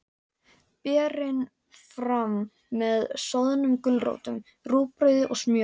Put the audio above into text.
Berið fram með soðnum gulrótum, rúgbrauði og smjöri.